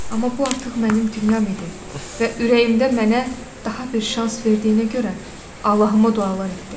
Amma bu artıq mənim dünyam idi və ürəyimdə mənə daha bir şans verdiyinə görə Allahıma dualar etdim.